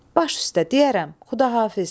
Baş üstə, deyərəm, Xudafiz.